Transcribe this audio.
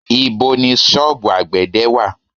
Ibo ni sọ́ọ̀bù àgbẹ̀dẹ̀ wà?